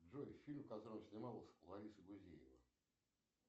джой фильм в котором снималась лариса гузеева